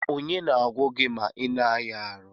Kedụ onye na agwọ gi ma ina aya arụ?